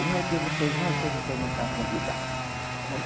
Como é que vocês vão se vocês não são convidado? Olha